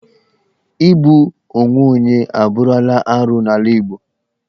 Igbu onwe onye abụrụla arụ n'ala Igbo.